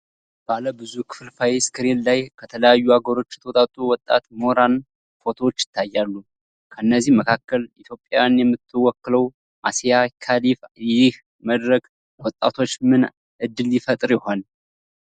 ባለ ብዙ ክፍልፋይ ስክሪን ላይ ከተለያዩ አገሮች የተውጣጡ ወጣት ምሁራን ፎቶዎች ይታያሉ። ከእነዚህ መካከል ኢትዮጵያን የምትወክለው "አሲያ ከሊፋ" ይህ መድረክ ለወጣቶች ምን እድል ይፈጥር ይሆን?